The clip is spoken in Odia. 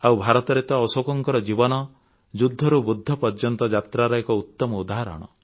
ଆଉ ଭାରତରେ ତ ଅଶୋକଙ୍କ ଜୀବନ ଯୁଦ୍ଧରୁ ବୁଦ୍ଧ ପର୍ଯ୍ୟନ୍ତ ଯାତ୍ରାର ଏକ ଉତ୍ତମ ଉଦାହରଣ